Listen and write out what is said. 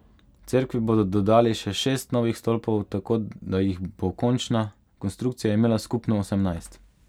Cerkvi bodo dodali še šest novih stolpov, tako da jih bo končna konstrukcija imela skupno osemnajst.